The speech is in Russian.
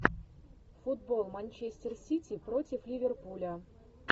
футбол манчестер сити против ливерпуля